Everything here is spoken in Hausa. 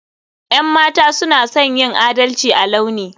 Yan mata suna son yin adalci a launi.